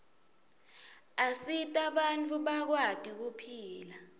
asita bantfu bakwati kuphila